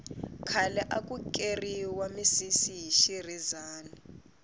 khale aku keriwa misisi hi xirhezani